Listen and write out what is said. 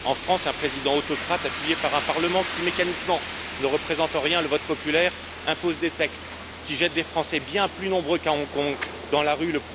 En France, un président autocrate, appuyé par un Parlement qui, mécaniquement, ne représente en rien le vote populaire, impose des textes qui jettent des Français, bien plus nombreux qu'à Hong Kong, dans la rue.